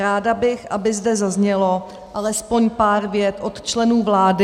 Ráda bych, aby zde zaznělo alespoň pár vět od členů vlády.